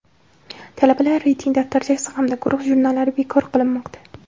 Talabalar reyting daftarchasi hamda guruh jurnallari bekor qilinmoqda.